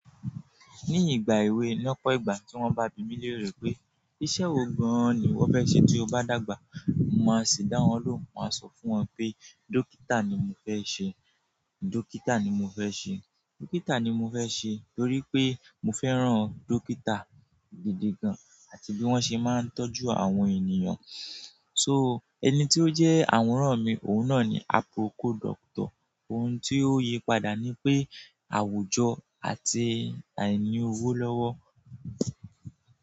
Ní ìgbà èwe lọ́pọ̀ ìgbà tí wọ́n bá bímí lérò pé iṣẹ́ wo gan-an ni wọ́n fẹ́ ṣe tí o bá dàgbà, mo máa ṣì dáhùn ló hun, mo máa sọ fún wọn pé dókítà ni mo fẹ́ ṣe, dókítà ni mo fẹ́ ṣe, dókítà ni mo fẹ́ ṣe torí pé mo fẹ́ràn dókítà gidi gan-an àti bí wọ́n ṣe máa ń tọ́jú àwọn ènìyàn. So, ẹni tí ó jẹ́ àwòrán mi, òun náà ni "Aproko Doctor". Ohun tí ó yí padà ni pé àwùjọ àti àìní owó lọ́wọ́.